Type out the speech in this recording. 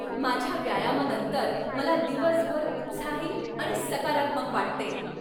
माझ्या व्यायामानंतर मला दिवसभर उत्साही आणि सकारात्मक वाटते.